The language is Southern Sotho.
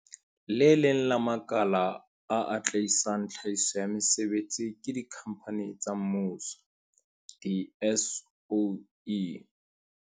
Le leng la makala a atlehisang tlhahiso ya mesebetsi ke dikhampani tsa mmuso di-soe.